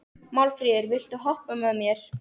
Málfríður, viltu hoppa með mér?